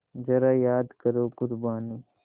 ज़रा याद करो क़ुरबानी